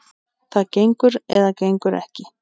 Það gengur eða gengur ekki.